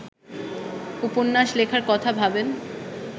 উপন্যাস লেখার কথা ভাবেন